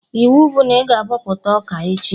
Iwu bụ na ị ga-abọpụta ọka echi!